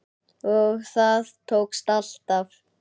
Og það tókst alltaf.